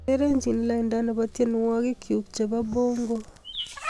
Urerenji lainda nebo tyenwogikchuu chebo bongo